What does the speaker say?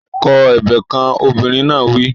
Kọ ebè kan! Obìnrin náà wí.